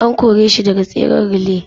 An kore shi daga tseren relay.